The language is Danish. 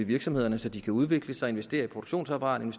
virksomhederne så de kan udvikle sig og investere i produktionsapparatet